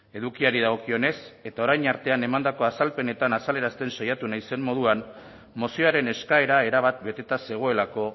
edukiari dagokionez eta orain artean emandako azalpenetan azalerazten saiatu naizen moduan mozioaren eskaera erabat beteta zegoelako